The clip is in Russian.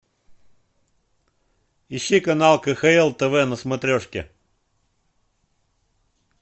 ищи канал кхл тв на смотрешке